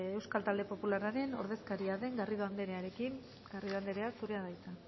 behin euskal talde popularraren ordezkaria den garrido andrearekin garrido anderea zurea da hitza